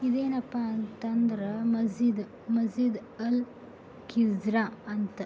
ಇದು ಏನಪ್ಪಾ ಅಂತ ಅಂದ್ರೆ ಮಸಜೀದ್ ಮಸೀಜ್ಡ್ ಅಲ್ಕಿರ್ಜ್ರ ಅಂತ.